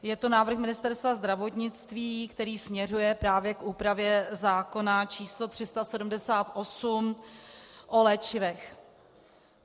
Je to návrh Ministerstva zdravotnictví, který směřuje právě k úpravě zákona číslo 378 o léčivech.